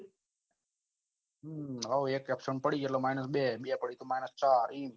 હોઉં એક absent પડી તો માઈનસ બે બે પડી minus ચાર